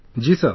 Ji Sir